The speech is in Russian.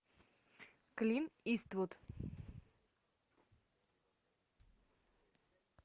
клинт иствуд